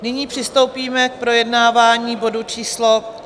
Nyní přistoupíme k projednávání bodu číslo